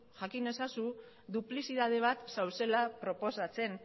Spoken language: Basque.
jakin ezazu duplizidade bat zaudela proposatzen